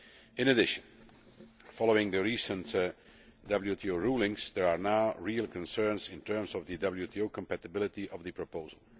In addition, following the recent WTO rulings, there are now real concerns in terms of the WTO compatibility of the proposal.